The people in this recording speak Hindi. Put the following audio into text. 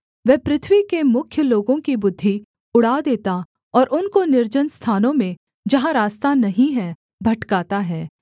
वह पृथ्वी के मुख्य लोगों की बुद्धि उड़ा देता और उनको निर्जन स्थानों में जहाँ रास्ता नहीं है भटकाता है